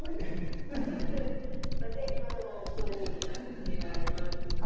Mas e a irmã Joanita, que a irmã